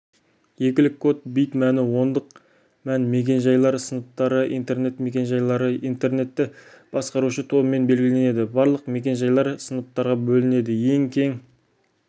екілік код бит мәні ондық мән мекен-жайлар сыныптары интернет мекен-жайлары интернетті басқарушы тобымен белгіленеді барлық мекен-жайлар сыныптарға бөлінеді ең кең